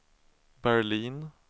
Berlin